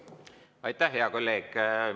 Aitäh, hea kolleeg!